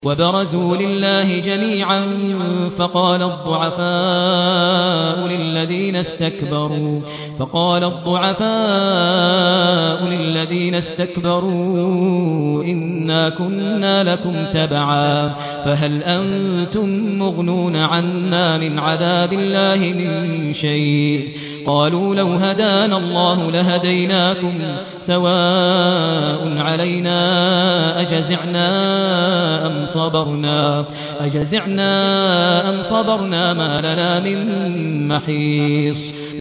وَبَرَزُوا لِلَّهِ جَمِيعًا فَقَالَ الضُّعَفَاءُ لِلَّذِينَ اسْتَكْبَرُوا إِنَّا كُنَّا لَكُمْ تَبَعًا فَهَلْ أَنتُم مُّغْنُونَ عَنَّا مِنْ عَذَابِ اللَّهِ مِن شَيْءٍ ۚ قَالُوا لَوْ هَدَانَا اللَّهُ لَهَدَيْنَاكُمْ ۖ سَوَاءٌ عَلَيْنَا أَجَزِعْنَا أَمْ صَبَرْنَا مَا لَنَا مِن مَّحِيصٍ